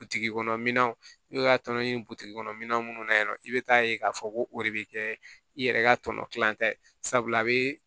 Butigi kɔnɔnaw n'u y'a tɔnɔ ɲini butiki kɔnɔ minɛn minnu na yen nɔ i bɛ taa ye k'a fɔ ko o de bɛ kɛ i yɛrɛ ka tɔnɔ kilancɛ sabula a bɛ